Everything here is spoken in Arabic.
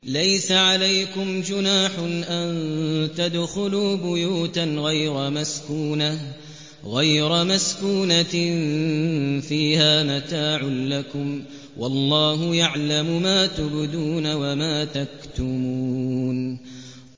لَّيْسَ عَلَيْكُمْ جُنَاحٌ أَن تَدْخُلُوا بُيُوتًا غَيْرَ مَسْكُونَةٍ فِيهَا مَتَاعٌ لَّكُمْ ۚ وَاللَّهُ يَعْلَمُ مَا تُبْدُونَ وَمَا تَكْتُمُونَ